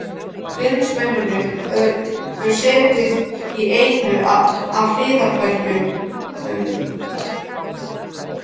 Bindindismennirnir höfðu setið í einu af hliðarherbergjum